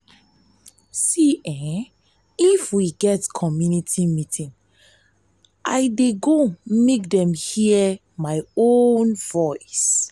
if we get community meeting i dey go make dem hear my own voice.